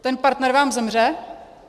Ten partner vám zemře.